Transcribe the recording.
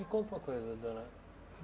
Me conta uma coisa, dona.